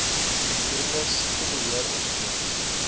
gedurende siektebe heeroptredes